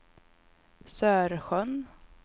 Sörsjön